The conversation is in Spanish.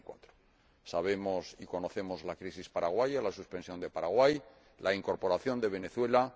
2004. Sabemos y conocemos la crisis paraguaya, la suspensión de Paraguay y la incorporación de Venezuela.